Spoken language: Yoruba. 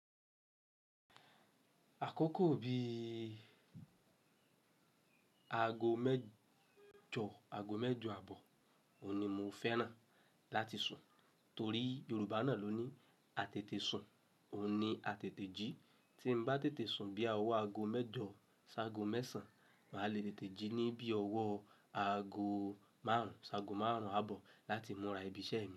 Àkókò bí i aago mẹ́jọ, aago mẹ́jọ àbọ̀, òun ni mo fẹ́ràn láti sùn, torí Yorùbá náà ló ní "á tètè sùn, òun ni á tètè jí". Tí m bá tètè sùn bí i ọwọ́ aago mẹ́jọ ṣá ágo mẹ́sàn, màá le tètè jí ní bí i ọwọ́ aago márùn-ún ṣá ágo márùn-ún àbọ̀ láti múra ibi iṣẹ́ mi.